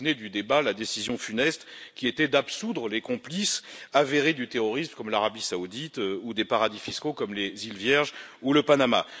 Vous vous souvenez du débat et de la décision funeste d'absoudre les complices avérés du terrorisme, comme l'Arabie saoudite, ou des paradis fiscaux, comme les Îles Vierges ou le Panama.